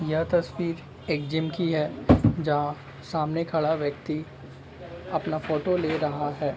यह तस्वीर एक जिम की है जहा सामने खड़ा व्यक्ति अपना फोटो ले रहा है।